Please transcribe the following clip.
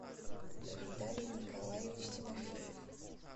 виталий николаевич тимофеев